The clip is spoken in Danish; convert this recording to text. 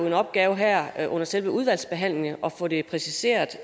en opgave her her under selve udvalgsbehandlingen i at få det præciseret